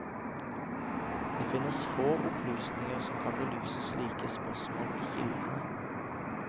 Det finnes få opplysninger som kan belyse slike spørsmål i kildene.